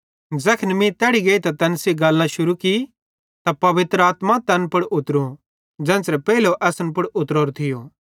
ज़ैखन मीं तैड़ी गेइतां तैन सेइं गल्लां शुरू की त पवित्र आत्मा तैन पुड़ उतरी ज़ेन्च़रे पेइले असन पुड़ उतरोरी थी